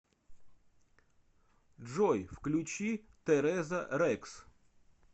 джой включи тереза рекс